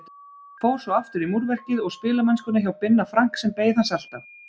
Fór svo aftur í múrverkið og spilamennskuna hjá Binna Frank sem beið hans alltaf.